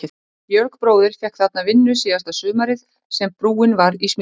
Georg bróðir fékk þarna vinnu síðasta sumarið sem brúin var í smíðum.